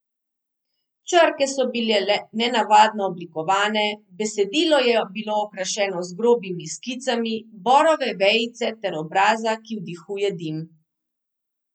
Črke so bile nenavadno oblikovane, besedilo je bilo okrašeno z grobimi skicami borove vejice ter obraza, ki vdihuje dim.